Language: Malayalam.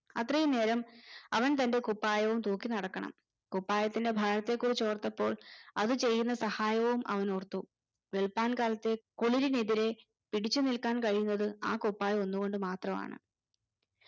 അത്രയും നേരം അവൻ തന്റെ കുപ്പായവും തൂക്കി നടക്കണം കുപ്പായത്തിന്റെ ഭാരത്തെ കുറിച്ചോർത്തപ്പോൾ അത് ചെയ്യുന്ന സഹായവും അവൻ ഓർത്തു വെളുപ്പാൻ കാലത്തെ കുളിരിനെതിരെ പിടിച്ചുനിൽക്കാൻ കഴിയുന്നത് ആ കുപ്പായം ഒന്നു കൊണ്ട് മാത്രമാണ്